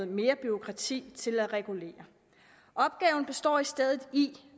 mere bureaukrati til at regulere opgaven består i stedet i